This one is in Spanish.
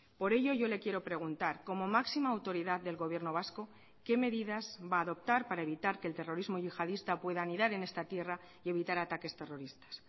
por ello yo le quiero preguntar como máxima autoridad del gobierno vasco qué medidas va a adoptar para evitar que el terrorismo yihadista pueda anidar en esta tierra y evitar ataques terroristas